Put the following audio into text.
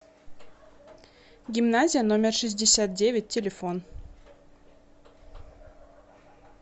гимназия номер шестьдесят девять телефон